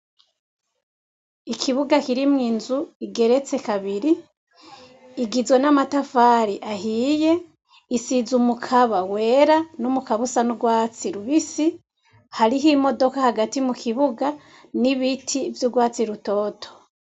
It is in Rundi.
Ikibuga kirimwo inzu igeretse kabiri, igizwe n'amatafari ahiye, isize umukaba wera n'umukaba usa n'urwatsi rubisi, hariho imodoka hagati mu kibuga n'ibiti vy'urwatsi rutoto.